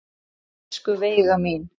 Elsku Veiga mín.